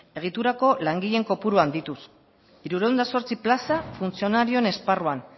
egiturako langileen kopuru handituz hirurehun eta zortzi plaza funtzionarioen esparruan